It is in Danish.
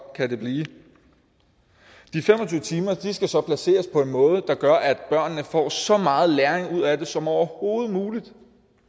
kan det blive de fem og tyve timer skal så placeres på en måde der gør at børnene får så meget læring ud af det som overhovedet muligt